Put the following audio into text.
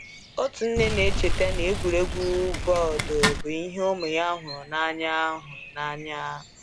Otu nne na-echeta na egwuregwu bọọdụ bụ ihe ụmụ ya hụrụ n’anya. hụrụ n’anya.